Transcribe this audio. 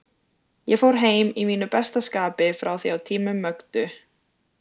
Ég fór heim í mínu besta skapi frá því á tímum Mögdu.